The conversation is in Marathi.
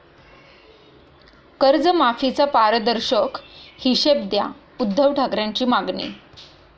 कर्जमाफीचा 'पारदर्शक' हिशेब द्या, उद्धव ठाकरेंची मागणी